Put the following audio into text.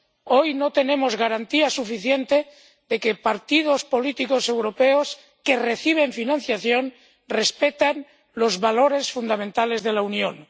Hoy no tenemos garantía suficiente de que los partidos políticos europeos que reciben financiación respetan los valores fundamentales de la Unión.